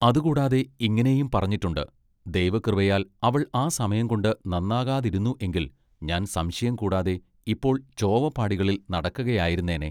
അതുകൂടാതെ ഇങ്ങിനെയും പറഞ്ഞിട്ടുണ്ട്. “ദൈവകൃപയാൽ അവൾ ആ സമയംകൊണ്ട് നന്നാകാതിരുന്നു എങ്കിൽ ഞാൻ സംശയം കൂടാതെ ഇപ്പോൾ ചോവപ്പാടികളിൽ നടക്കയായിരുന്നേനെ.